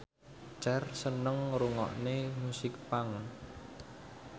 Cher seneng ngrungokne musik punk